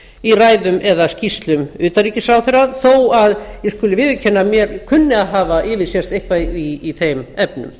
í ræðum eða skýrslum utanríkisráðherra þó að ég skuli viðurkenna að mér kunni að hafa yfirsést eitthvað í þeim efnum